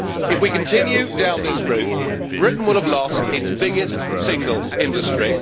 If we continue down this route, Britain will have lost its biggest single industry.